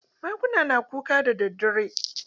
Maguna na kuka daddadare?